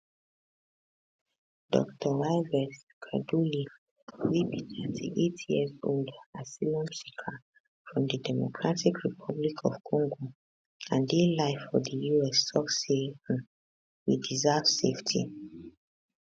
dr yves kaduli wey be 38yearold asylum seeker from di democratic republic of congo and dey live for di us tok say um we deserve safety